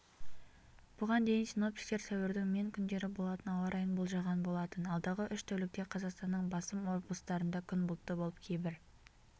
бұған дейін синоптиктер сәуірдің мен күндері болатын ауа райын болжаған болатын алдағы үш тәулікте қазақстанның басым облыстарында күн бұлтты болып кейбір